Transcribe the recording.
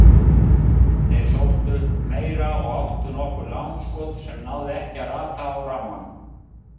Þeir sóttu meira og áttu nokkur langskot sem náðu ekki að rata á rammann.